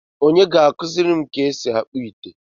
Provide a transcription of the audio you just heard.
Onye ga-akuziri m ka esi akpu ite?